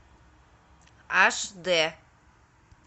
аш дэ